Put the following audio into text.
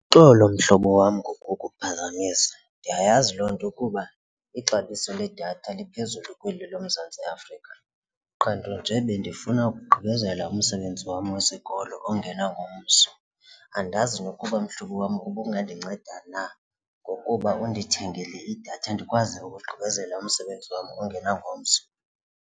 Uxolo mhlobo wam ngokukuphazamisa ndiyayazi loo nto ukuba ixabiso ledatha liphezulu kweli loMzantsi Afrika qha nto nje bendifuna ukugqibezela umsebenzi wam wezikolo ongena ngomso. Andazi nokuba mhlobo wam ubungandinceda na ngokuba undithengele idatha ndikwazi ukugqibezela umsebenzi wam ongena ngomso.